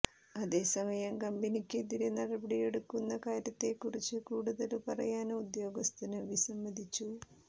അതെ സമയം കമ്പനിക്കെതിരെ നടപടിയെടുക്കുന്ന കാര്യത്തെക്കുറിച്ച് കൂടുതല് പറയാന് ഉദ്യോഗസ്ഥന് വിസ്സമ്മതിച്ചു